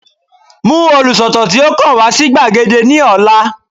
Mú olùsọ̀tàn tí ó kàn wá sí gbàgede ní ọ̀la